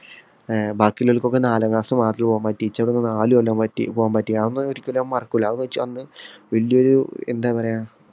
ബാക്കിയുള്ളോർക്കെല്ലാം നാലാം ക്ലാസ് മാത്രേ പോകാൻ പറ്റിയുള്ളൂ എനിക്ക് നാലു കൊല്ലം പോകാൻ പറ്റി. അതൊന്നും ഒരിക്കലും മറക്കൂല. അന്ന് വല്യൊരു എന്താ പറയാ